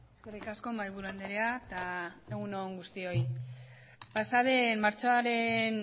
eskerrik asko mahaiburu andrea eta egun on guztioi pasa den martxoaren